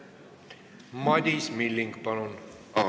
Madis Milling, palun!